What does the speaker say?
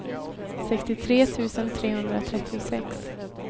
sextiotre tusen trehundratrettiosex